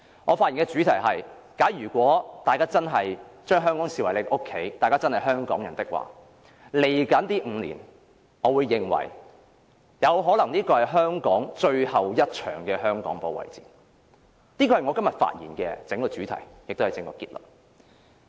我發言的主題是，如果大家真的視香港為家，真的視自己為香港人的話，未來5年可能是香港最後一場的香港保衞戰，這是我今天發言的主題，亦是我的整個結論。